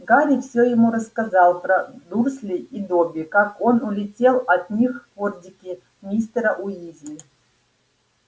гарри все ему рассказал про дурслей и добби как он улетел от них в фордике мистера уизли